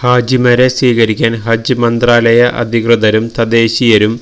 ഹാജിമാരെ സ്വീകരിക്കാന് ഹജ് മന്ത്രാലയ അധികൃതരും തദ്ദേശീയരും